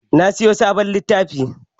Na sayi sabon littafi.